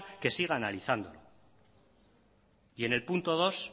que siga analizando y en el punto dos